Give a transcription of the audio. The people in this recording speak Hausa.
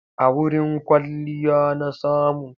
A wurin kwalliya na samu.